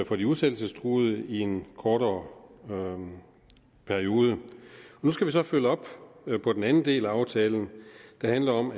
for de udsættelsestruede i en kortere periode nu skal vi så følge op på den anden del af aftalen der handler om